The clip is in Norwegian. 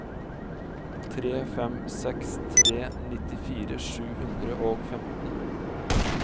tre fem seks tre nittifire sju hundre og femten